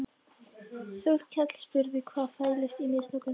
Þórkell spurði hvað fælist í misnotkun.